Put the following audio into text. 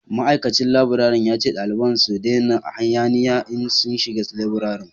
ma'aikacin laburare ya ce dalibai su dena hayaniya in sun shiga laburare